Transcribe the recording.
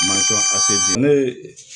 ne ye